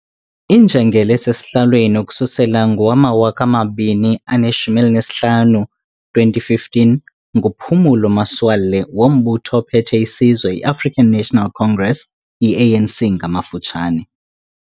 Injengele esesihlalweni ukususela ngowamawaka amabini aneshumi elinesihlanu, 2015, nguPhumulo Masualle wombutho ophethe isizwe iAfrican National Congress, iANC ngamafutshane.